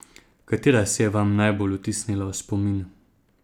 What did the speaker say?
Katera se je vam najbolj vtisnila v spomin?